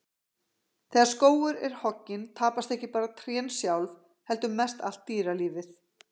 Þegar skógur er hogginn, tapast ekki bara trén sjálf heldur mest allt dýralífið.